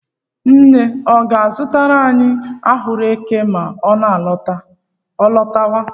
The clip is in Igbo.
Nne ọ ga-azụtara anyị ahụekere ma ọ lọtawa?